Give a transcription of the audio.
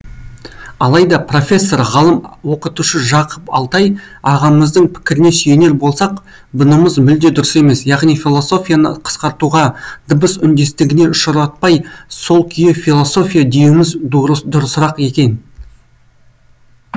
алайда профессор ғалым оқытушы жақып алтай ағамыздың пікіріне сүйенер болсақ бұнымыз мүлде дұрыс емес яғни философияны қысқартуға дыбыс үндестігіне ұшыратпай сол күйі философия деуіміз дұрысырақ екен